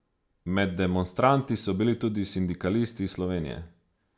Med demonstranti so bili tudi sindikalisti iz Slovenije.